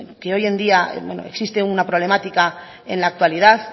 que hoy en día existe una problemática en la actualidad